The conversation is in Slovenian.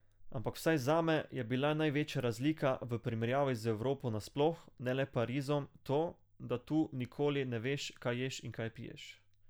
Ampak vsaj zame je bla največja razlika v primerjavi z Evropo nasploh, ne le Parizom, to, da tu nikoli ne veš, kaj ješ in kaj piješ.